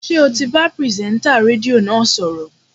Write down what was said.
Ṣé ò ti bá pìrìsẹ́ńtà rédíò náà sọ̀rọ̀?